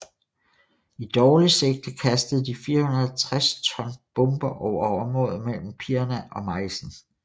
I dårligt sigte kastede de 460 ton bomber over området mellem Pirna og Meissen